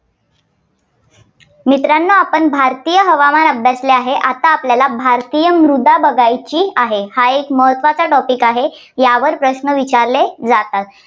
मित्रांनो आपण भारतीय हवामान अभ्यासलं आहे. आता आपल्याला भारतीय मृदा बघायची आहे. हा एक महत्त्वाचा topic आहे. यावर प्रश्न विचारले जातात.